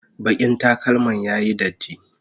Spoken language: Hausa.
bakin takalman ya Yi datti